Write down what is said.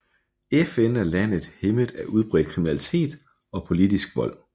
FN er landet hæmmet af udbredt kriminalitet og politisk vold